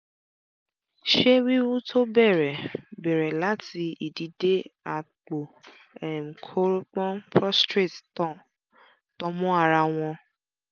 ṣé wíwú tó bẹ̀rẹ̀ bẹ̀rẹ̀ láti ìdí dé àpò um kórópọ̀n prostrate tan mọ́ ara wọn?